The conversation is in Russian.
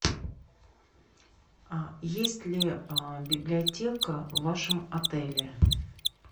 есть ли библиотека в вашем отеле